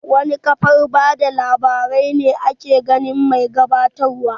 Wana kafar bada labarai ne ake ganin mai gabatar wa?